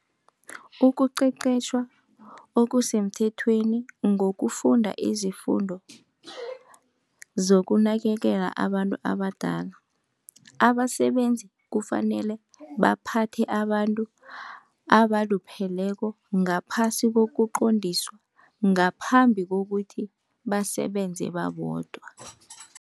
Ukuqeqetjhwa okusemthethweni ngokufunda izifundo zokunakekela abantu abadala, abasebenzi kufanele baphathe abantu abalupheleko ngaphasi kokuqondiswa ngaphambi kokuthi basebenze babodwa.